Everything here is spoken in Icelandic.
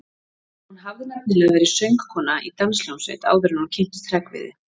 Hún hafði nefnilega verið söngkona í danshljómsveit áður en hún kynntist Hreggviði.